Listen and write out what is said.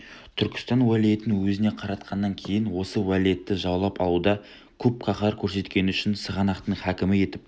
түркістан уәлиетін өзіне қаратқаннан кейін осы уәлиетті жаулап алуда көп қаһар көрсеткені үшін сығанақтың хакімі етіп